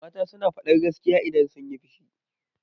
Mata suna faɗar gaskiya idan sunyi fushi.